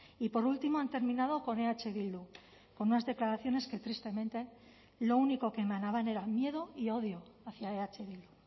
y por último han terminado con eh bildu con unas declaraciones que tristemente lo único que emanaban era miedo y odio hacia eh bildu